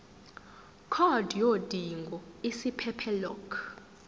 card yodinga isiphephelok